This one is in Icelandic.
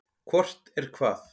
Hvort er hvað?